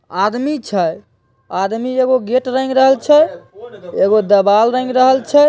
आदमी छै आदमी एगो गेट रंग रहल छै एगो देवाल रंग रहल छै।